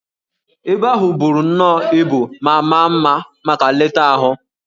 Ebe ahụ buru nnọọ ibu ma maa mma maka nleta ahụ